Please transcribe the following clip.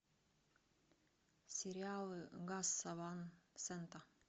сериалы гаса ван сента